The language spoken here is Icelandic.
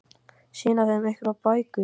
Sýna þeim einhverjar bækur?